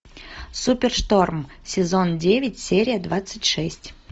супершторм сезон девять серия двадцать шесть